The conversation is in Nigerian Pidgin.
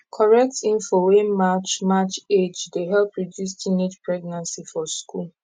correct info wey match match age dey help reduce teenage pregnancy for school